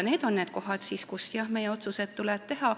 Need on need kohad, kus, jah, meil tuleb otsused teha.